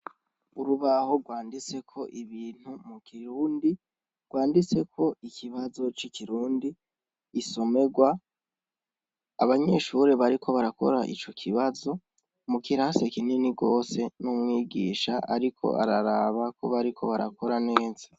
Urubaho rwanditseko ibintu mu kirundi, rwanditseko ikibazo ci kirundi insomerwa, abanyeshure bariko barakora ico kibazo mu kirasi kinini gose n'umwigisha ariko araraba ko bariko barakora neza.